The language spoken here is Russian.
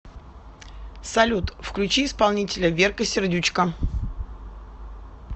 салют включи исполнителя верка сердючка